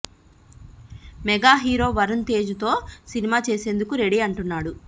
mega hero Varun Tej తో సినిమా చేసేందుకు రెడీ అంటున్నాడు